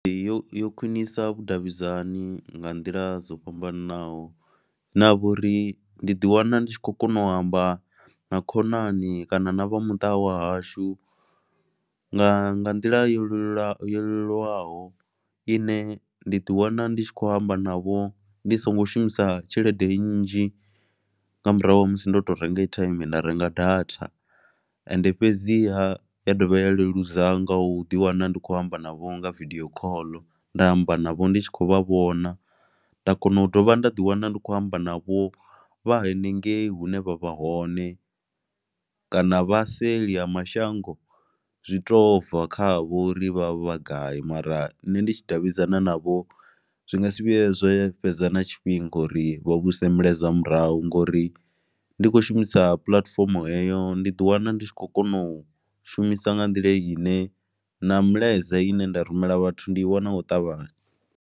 Ee, yo yo khwinisa vhudavhidzani nga nḓila dzo fhambananaho hune ha vha uri ndi ḓiwana ndi tshi khou kona u amba na khonani kana na vha muṱa wa hashu nga nḓila yo leluwaho yo leluwaho ine nda ḓiwana ndi tshi khou amba navho ndi songo shumisa tshelede nnzhi nga murahu ha musi ndo to renga airtime nda renga data ende fhedziha ya dovha ya leludza nga u ḓiwana ndi khou amba navho nga vidio call, nda amba navho ndi tshi khou vha vhona, nda kona u dovha nda ḓiwana ndi khou amba navho vha henengeyi hune vha vha hone kana vha seli ha mashango zwi tou bva kha vho ri vha vha gai mara nṋe ndi tshi davhidzana navho zwi nga si vhuye zwe fhedza na tshifhinga uri vha vhuise milaedza murahu ngori ndi khou shumisa puḽatifomo heyo ndi ḓi wana ndi tshi khou kona u shumisa nga nḓila ine na milaedza ine nda rumela vhathu ndi i wana nga u ṱavhanya.